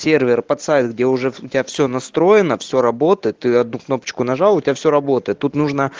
сервер под сайт где уже у тебя все настроено все работает ты одну кнопочку нажал у тебя все работает тут нужно